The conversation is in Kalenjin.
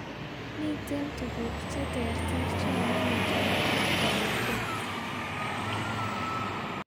Miten tuguk cheterter cheyoe metoet ab manacheet